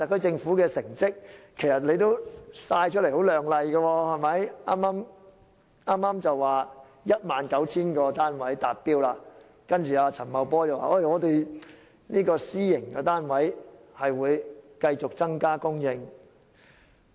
政府的成績其實也相當亮麗，剛剛公布供應 19,000 個單位的目標達標，陳茂波司長亦表示私營房屋供應會繼續增加。